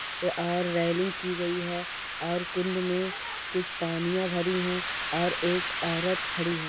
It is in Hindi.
अ और रेलिंग की गयी है और कुंड में कुछ पानीया भरी है और एक औरत खड़--